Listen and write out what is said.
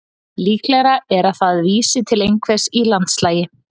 Líklegra er að það vísi til einhvers í landslagi.